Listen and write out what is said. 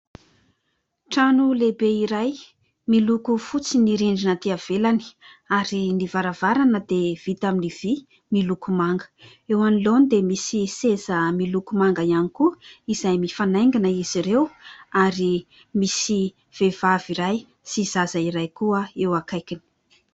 Trano lehibe iray, miloko fotsy ny rindrina atỳ ivelany ary ny varavarana dia vita amin'ny vy miloko manga. Eo anoloany dia misy seza miloko manga ihany koa izay mifanaingina izy ireo ary misy vehivavy iray sy zaza iray koa eo akaikiny.